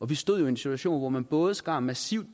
vi stod i en situation hvor man både skar massivt